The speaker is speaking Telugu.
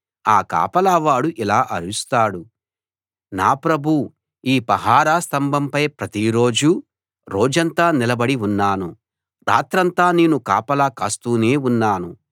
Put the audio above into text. ఆ కాపలా వాడు ఇలా అరుస్తాడు నా ప్రభూ ఈ పహారా స్తంభంపై ప్రతి రోజూ రోజంతా నిలబడి ఉన్నాను రాత్రంతా నేను కాపలా కాస్తూనే ఉన్నాను